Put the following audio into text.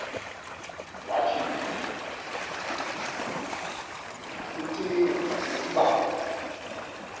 wathi ngakllcinga ukub